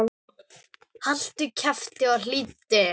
Haltu kjafti og hlýddu!